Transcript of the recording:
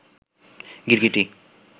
গিরগিটি